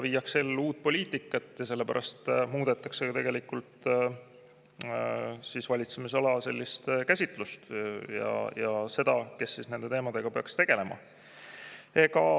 Viiakse ellu uut poliitikat ja sellepärast muudetakse valitsemisala käsitlust ja seda, kes peaks nende teemadega tegelema.